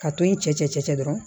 Ka to yen cɛcɛ dɔrɔn